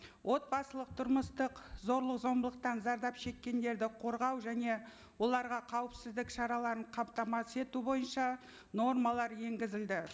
отбасылық тұрмыстық зорлық зомбылықтан зардап шеккендерді қорғау және оларға қауіпсіздік шараларын қамтамасыз ету бойынша нормалар енгізілді